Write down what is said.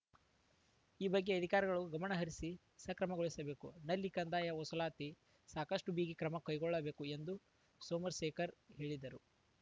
ಈ ಬಗ್ಗೆ ಅಧಿಕಾರಿಗಳು ಗಮನಹರಿಸಿ ಸಕ್ರಮಗೊಳಿಸಬೇಕು ನಲ್ಲಿ ಕಂದಾಯ ವಸೂಲಾತಿಯಲ್ಲಿ ಸಾಕಷ್ಟುಬಿಗಿ ಕ್ರಮ ಕೈಗೊಳ್ಳಬೇಕು ಎಂದು ಸೋಮಶೇಖರ್‌ ಹೇಳಿದರು